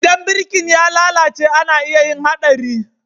Idan birki ya lalace ana iya yin Haɗari.